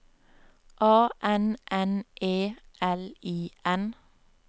A N N E L I N